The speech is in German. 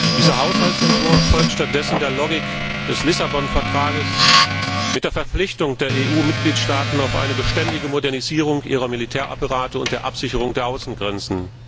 Dieser Haushaltsentwurf folgt stattdessen der Logik des Lissabon Vertrages mit der Verpflichtung der EU Mitgliedstaaten auf eine beständige Modernisierung ihrer Militärapparate und der Absicherung der Außengrenzen.